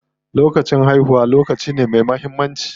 Lokacin haihuwa lokaci ne me muhimmanci.